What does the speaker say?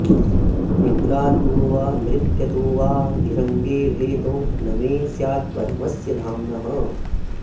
निद्रातु वा नृत्यतु वाऽधिरङ्गे भेदो न मे स्यात्परमस्य धाम्नः